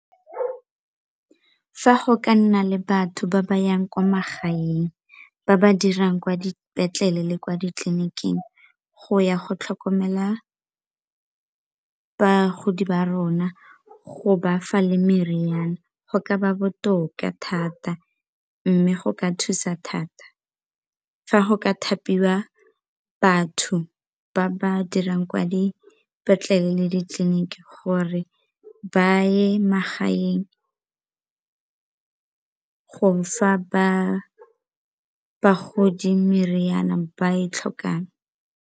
Fa go ka nna le batho ba ba yang kwa magaeng, ba ba dirang kwa dipetlele le kwa ditleliniking go ya go tlhokomela bagodi ba rona go ba fa le meriana go ka ba botoka thata mme go ka thusa thata. Fa go ka thapiwa batho ba ba dirang kwa dipetlelete le ditleliniki gore ba ye magaeng go fa bagodi meriana e ba e tlhokang.